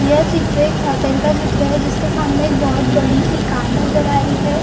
ये चित्र एक होटल का चित्र हैं जिसका का सामने एक बहुत बड़ी सी कार नज़र आ रही हैं ।